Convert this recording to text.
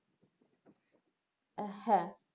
হ্যাঁ,